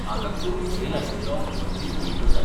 म्हाका कमी झेल आशिल्लो वर्जिन मोइटो जाय.